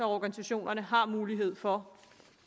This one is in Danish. organisationerne har mulighed for